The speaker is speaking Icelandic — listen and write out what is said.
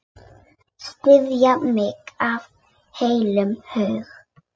Styðja mig af heilum hug?